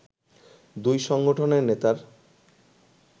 দুই সংগঠনের নেতার